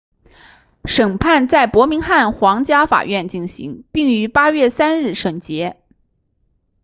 审判在伯明翰皇家法院进行并于8月3日审结